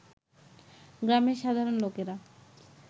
গ্রামের সাধারণ লোকেরা